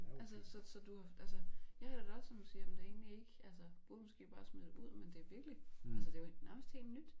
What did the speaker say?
Altså så så du altså jeg har det da også som du siger jamen det egentlig ikke altså burde måske bare smide det ud men det virkelig altså det nærmest helt nyt